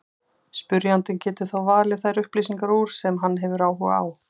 Spyrjandinn getur þá valið þær upplýsingar úr sem hann hefur áhuga á.